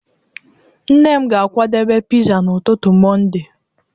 Nne m ga-akwadebe pizza n'ụtụtụ Mọnde.